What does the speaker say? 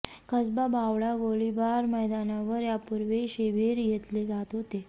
कसबा बावडा गोळीबार मैदानावर यापूर्वी शिबिर घेतले जात होते